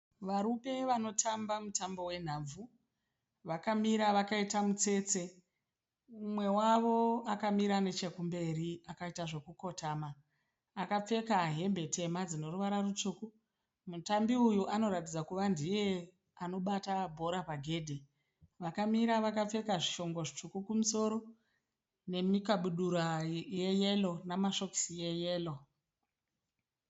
Varume vanotamba mutambo wenhabvu. Vakamira vakaita mutsetse. Mumwe wavo akamira nechekumberi akaita zvekukotama. Akapfeka hembe tema dzine ruvara rutsvuku tsvuku. Mutambi uyu anoratidza kuti ndiye anobata bhora pagedhe. Vakamira vakapfeka zvishongo zvitsvuku kumusoro nemikabudura yeyero nemasokisi eyero